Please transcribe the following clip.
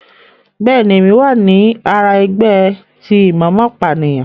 Bẹẹni, Èmí wá ní àrà ẹgbẹ ti imomopaniyan